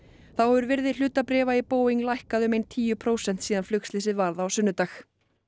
þá hefur virði hlutabréfa í Boeing lækkað um ein tíu prósent síðan flugslysið varð á sunnudag